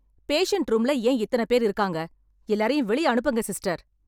Patient ரூம்ல ஏன் இத்தன பேரு இருக்காங்க? எல்லாரையும் வெளிய அனுப்புங்க சிஸ்டர்.